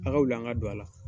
A wuli an ka do a la